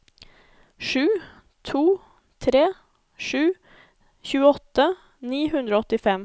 sju to tre sju tjueåtte ni hundre og åttifem